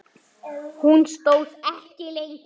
Hún stóð þó ekki lengi.